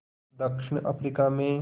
दक्षिण अफ्रीका में